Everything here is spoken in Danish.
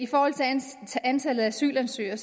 antallet af asylansøgere